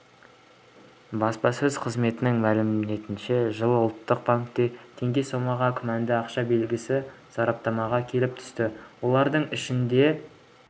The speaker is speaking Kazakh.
баспасөз қызметінің мәліметінше жылы ұлттық банкке теңге сомаға күмәнді ақша белгісі сараптамаға келіп түсті олардың ішінде